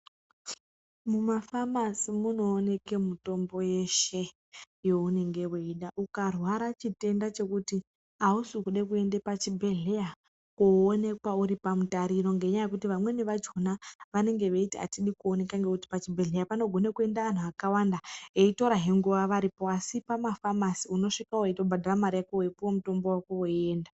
Mumafamasi munooneke mitombo yeshe younenge weida. Ukarwara chitenda chekuti ausi kuda kuenda pachibhedhleya koonekwa uri pamutariro ngenyaya yekuti vamweni vakhona vanenge bachiti atidi kuoneka ngekuti pachibhedhleya panogone kuenda anhu akawanda eiorahe nguwa varipo asi pamafamasi unosvika weitobhadhara mari yako weipuwa mutombo wako weienda.